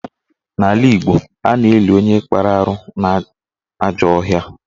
N'ala Igbo, a na-eli onye kpara arụ n'ajọ ọhịa